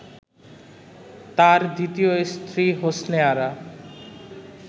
তার দ্বিতীয় স্ত্রী হোসনে আরা